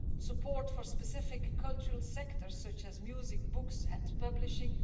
support for specific cultural sectors, such as music books and publishing